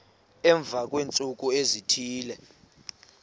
emva kweentsuku ezithile